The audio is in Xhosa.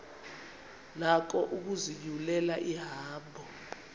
nako ukuzinyulela ihambo